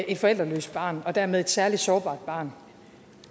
et forældreløst barn og dermed et særligt sårbart barn